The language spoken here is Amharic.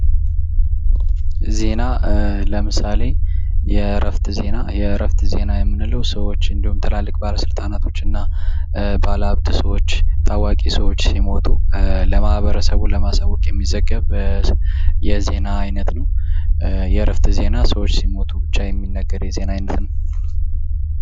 ዜና ለምሳሌ የእረፍት ዜና፦ የእረፍት ዜና ሰዎች እንዲሁም ትላልቅ ባለስልጣናቶችና፥ ታዋቂ ሰዎች ባለሀብቶች፥ ሲመጡ በዜና የሚዘግብ የዜና አይነት ነው። የእረፍት ዜና ሰዎች ሲሞቱ ብቻ የሚነገር የዜና አይነት ነው።